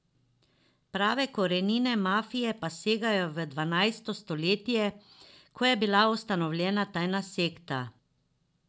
Prave korenine mafije pa segajo v dvanajsto stoletje, ko je bila ustanovljena tajna sekta.